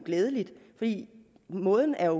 glædeligt fordi måden er